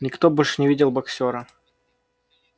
никто больше не видел боксёра